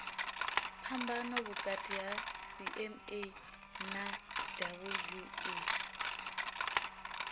phambano vhukati ha cma na wua